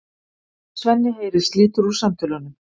Svenni heyrir slitur úr samtölunum.